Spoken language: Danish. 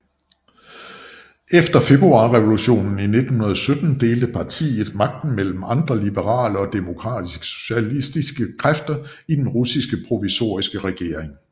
Efter Februarrevolutionen i 1917 delte partiet magten med andre liberale og demokratiske socialistiske kræfter i den russiske provisoriske regering